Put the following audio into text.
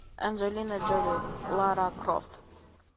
анджелина джоли лара крофт